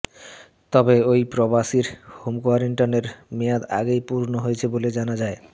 তবে ওই প্রবাসীর হোম কোয়ারেন্টাইনের মেয়াদ আগেই পূর্ণ হয়েছে বলে পরে জানা যায়